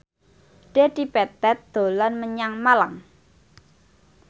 Dedi Petet dolan menyang Malang